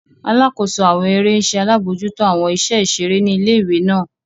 Alakoso awọn ere ń ṣe alabojuto awọn iṣẹ iṣere ni ìlé-ìwé náà.